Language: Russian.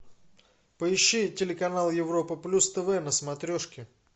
поищи телеканал европа плюс тв на смотрешке